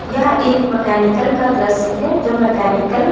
यह एक मकैनिकल का दृश्य है जो मकैनिकल --